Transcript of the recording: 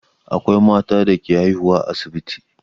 Akwai mata da ke haihuwa a asibiti.